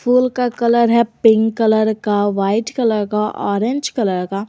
Full का colour है pink colour का व्हाइट कलर का ऑरेंज कलर का।